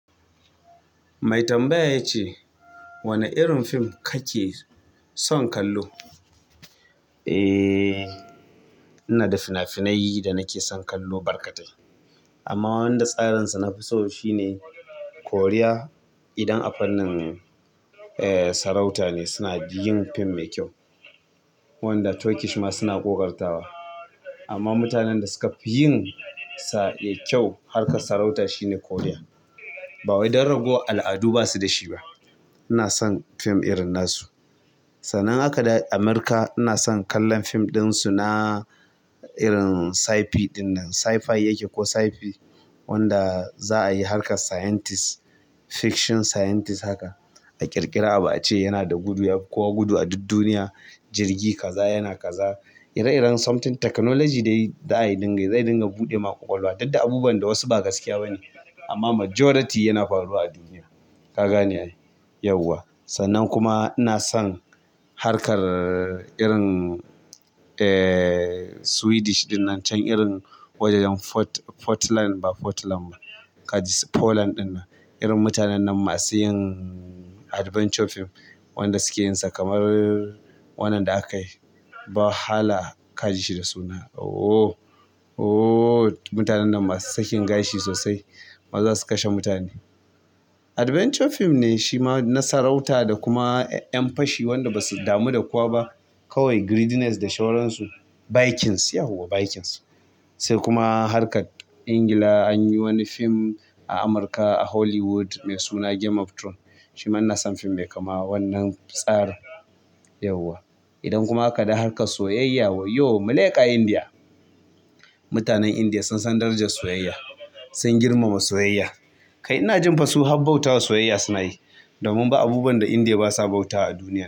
Mai tambaya ya ce, "Wane irin fim kake son kallo?" E, ina da fina-finai da nake son kallo barkatai. Amma wanda tsarin sa nafi so shine Korea. Idan a fannin, eh, sarauta ne suna yin fim mai kyau wanda Turkish ma suna ƙoƙartawa. Amma mutanen da suka fi yin sa da kyau harkar sarauta shine Korea. Ba wai dan ragowar al'adu basu da shi ba. Ina son fim irin na su. Sannan haka da Amurka ina son kallon fim ɗin su na irin tsafi ɗin nan. Sci-fi yake ko sci-fi wanda za a yi harkar scientist fiction scientist haka a ƙirƙira abu a ce yana da gudu yafi kowa gudu a duk duniya, jirgi kaza yana kaza. Ire-iren something technology dai za ai dai yi dinga yi, zai dinga buɗe ma ƙwaƙwalwa. Duk da buwan da wasu ba gaskiya ba ne, amma majority yana faruwa a duniya. Ka gane yauwa. Sannan kuma ina son harkar irin, eh, Swedish ɗin nan can irin wajajen Fort- Portland ba Portland ba, ka ji Poland ɗinnan. Irin mutanen nan masu yin adventure fim wanda suke yin sa kamar wannan da aka yi. Ba hala ka ji shi da suna. Ooh, ooh mutanen nan masu sakin gashi sosai. Maza su kashe mutane. Adventure fim ne shi ma na sarauta da kuma ƴan fashi wanda ba su damu da kowa ba kawai greediness da shawaran su. Vikings yauwa vikings. Sai kuma harkar Ingila an yi wani fim a Amurka a Hollywood mai suna game of Throne. Shi ma ina son fim mai kama wannan tsarin, yauwa. Idan kuma aka dawo harkar soyayya wayyo, muleƙa indiya. Mutanen Indiya sun san darajar soyayya. Sun girmama soyayya. Kai ina jin fa su hab bautawa soyayya suna yi. Domin ba abubuwan da Indiya basa bautawa a duniya.